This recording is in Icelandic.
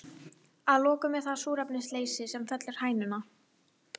Að lokum er það súrefnisleysi sem fellir hænuna.